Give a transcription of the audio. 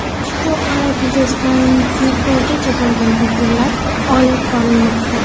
Ushbu holat yuzasidan tergovgacha bo‘lgan tadbirlar olib borilmoqda.